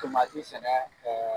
sɛnɛ kɛ